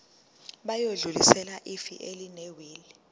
bayodlulisela ifa elinewili